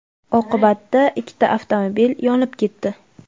Oqibatda ikkita avtomobil yonib ketdi.